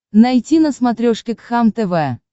найти на смотрешке кхлм тв